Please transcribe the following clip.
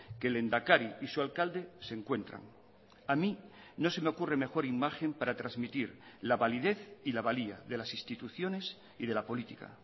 que el lehendakari y su alcalde se encuentran a mí no se me ocurre mejor imagen para transmitir la validez y la valía de las instituciones y de la política